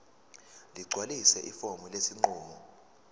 ligcwalise ifomu lesinqumo